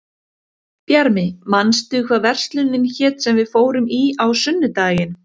Bjarmi, manstu hvað verslunin hét sem við fórum í á sunnudaginn?